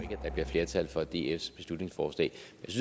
der bliver flertal for dfs beslutningsforslag